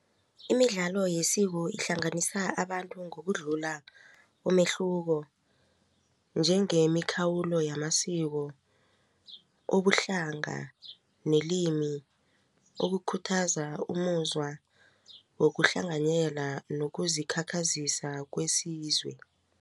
Imidlalo yesiko ihlanganisa abantu ngokudlula umehluko njengemikhawulo yamasiko ubuhlanga nelimi ukukhuthaza umuzwa wokuhlanganyela nokuzikhakhazisa kwesizwe.